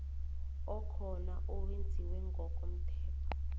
okhona owenziwe ngokomthetho